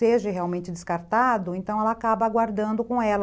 seja realmente descartado, então ela acaba aguardando com ela.